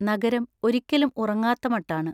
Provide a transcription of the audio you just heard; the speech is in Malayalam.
നഗരം ഒരിക്കലും ഉറങ്ങാത്ത മട്ടാണ്.